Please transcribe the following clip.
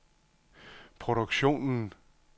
produktionen